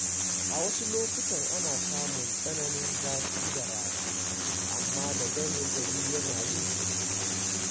A wasu lokutan ana samun tsananin zafi da rana, amma da dare gari yana yin sanyi.